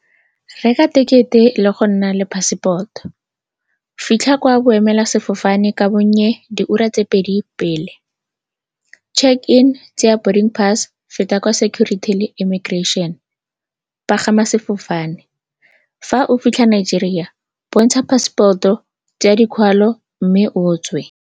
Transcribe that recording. Reka thekete le go nna le passport-o, fitlha kwa boemelasefofane ka bonnye diura tse pedi pele, check-in, tseya pass, feta kwa security le immigration, pagama sefofane. Fa o fitlha Nigeria, bontsha passport-o, tsaya dikwalo mme o tswe.